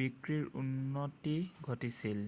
বিক্ৰীৰ উন্নতি ঘটিছিল